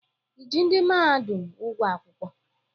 I ji ndị mahadum ụgwọ akwụkwọ?